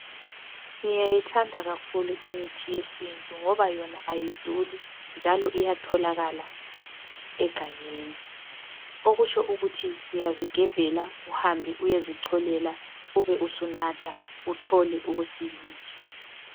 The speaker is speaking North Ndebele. Ngiyayithanda kakhulu imithi yesintu ngoba yona ayiduli njalo iyatholakala egangeni okutsho ukuthi uyazigebhela uhambe uyezicolela ube sunatha uthole ukusiliswa